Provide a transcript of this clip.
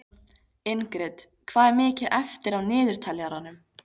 Ingrid, hvað er mikið eftir af niðurteljaranum?